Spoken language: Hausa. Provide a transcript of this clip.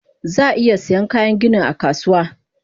Zaa iya Saiyan Kayan gani akasuwa